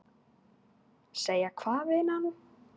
Segja hvað, vinan?